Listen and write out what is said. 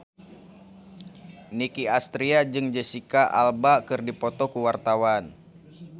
Nicky Astria jeung Jesicca Alba keur dipoto ku wartawan